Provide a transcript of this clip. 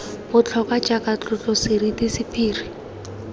botlhokwa jaaka tlotlo seriti sephiri